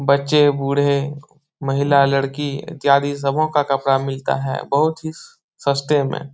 बच्चे बूढ़े महिला लड़की इत्यादि सभों का कपडा मिलता है बहोत ही सस् सस्ते में।